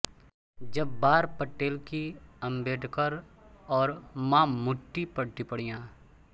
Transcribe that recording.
जब्बार पटेल की अम्बेडकर और मामूट्टी पर टिप्पणियाँ